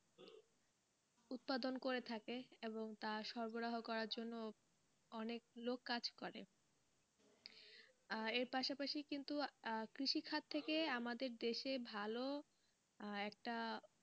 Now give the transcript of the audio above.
উৎপাদন করে থাকে এবং তা সরবরাহ করার জন্য, অনেক লোক কাজ করে আহ এর পাশাপাশি কিন্তু আহ কৃষি খাদ থেকে আমাদের দেশে ভালো আহ একটা,